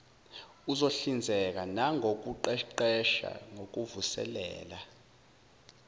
uzohlinzeka nangokuqeqesha kokuvuselela